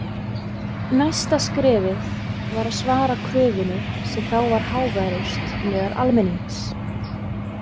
Næsta skrefið var að svara kröfunni sem þá var háværust meðal almennings.